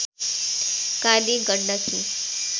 Kali Gandaki